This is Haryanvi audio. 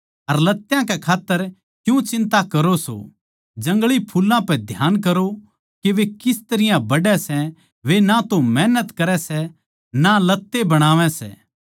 अर लत्यां के खात्तर क्यूँ चिंता करो सों जंगली फुल्लां पै ध्यान करो के वे किस तरियां बढ़ै सै वे ना तो मेहनत करै सै ना लत्तें बनावै सै